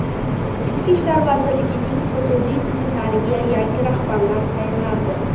Ichki ishlar vazirligining hududiy tizimlariga yangi rahbarlar tayinlandi.